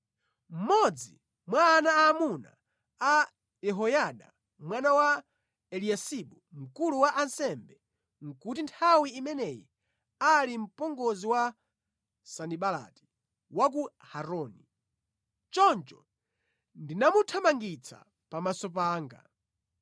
Mmodzi mwa ana aamuna a Yehoyada mwana Eliyasibu mkulu wa ansembe nʼkuti nthawi imeneyi ali mpongozi wa Sanibalati wa ku Horoni. Choncho ndinamuthamangitsa pamaso panga.